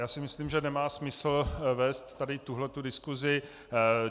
Já si myslím, že nemá smysl vést tady tuto diskusi.